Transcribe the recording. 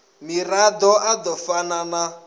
mirado a do fana na